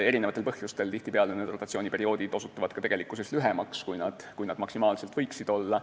Mitmesugustel põhjustel osutub rotatsiooniperiood tihtipeale lühemaks, kui see maksimaalselt võiks olla.